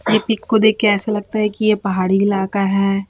ये पिक को देख के ऐसा लगता है ये पहाड़ी इलाका है।